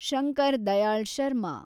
Shankar Dayal Sharma